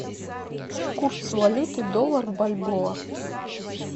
курс валюты доллар бальбоа